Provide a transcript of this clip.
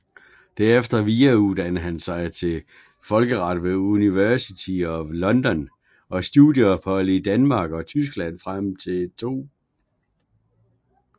Derefter videreduddannede han sig i folkeret ved University of London og studieophold i Danmark og Tyskland frem til 2